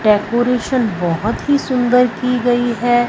Decoration बहोत ही सुंदर की गई है।